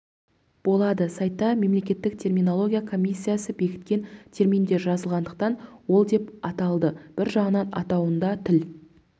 болады сайтта мемлекеттік терминология комиссиясы бекіткен терминдер жазылатындықтан ол деп аталды бір жағынан атауында тіл